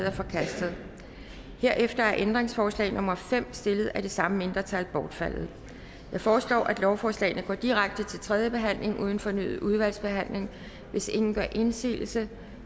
er forkastet herefter er ændringsforslag nummer fem stillet af det samme mindretal bortfaldet jeg foreslår at lovforslagene går direkte til tredje behandling uden fornyet udvalgsbehandling hvis ingen gør indsigelse